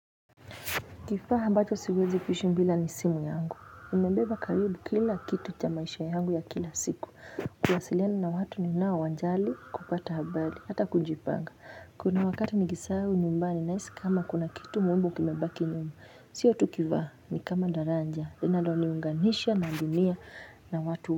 Kifaa ambacho siwezi kuishi bila ni simu yangu imebeba karibu kila kitu cha maisha yangu ya kila siku kuwasiliana na watu ninao wajali kupata habari hata kujipanga kuna wakati nikisahau nyumbani nahisi kama kuna kitu muhimu kimebaki nyuma sio tukivaa ni kama daraja linaloniunganisha na dunia na watu.